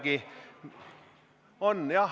Siiski on.